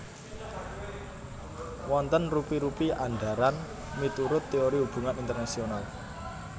Wonten rupi rupi andharan miturut teori hubungan internasional